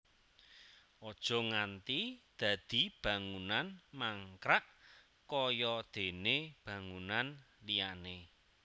Aja nganti dadi bangunan mangkrak kaya déné bangunan liyané